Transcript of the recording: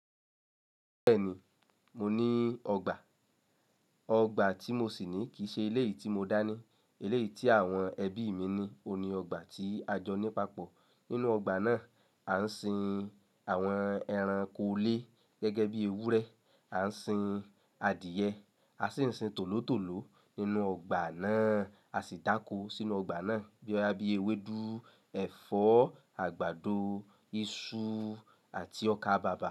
Bẹ́ẹ̀ni, mo ní ọgbà. Ọgbà tí mo sì ní kì í ṣe ilé yìí tí mo dá ní. Ilé yìí tí àwọn ẹbí mi ní, òun ni ọgbà tí a jọ ní papọ̀. Nínú ọgbà náà, a ń sin àwọn ẹranko ilé gẹ́gẹ́ bí ewúrẹ́, a ń sin adìẹ, a sì ń sin tòlótòló nínú ọgbà náà, a sì dákó sínú ọgbà náà bí i ewédú, ẹ̀fọ́, àgbàdo, iṣu àti ọkà bàbà.